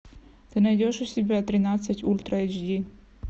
ты найдешь у себя тринадцать ультра эйч ди